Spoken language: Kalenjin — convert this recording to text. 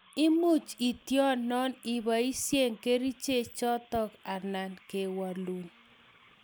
Imuch itionon ipaishe kerichek chotok ana kewalun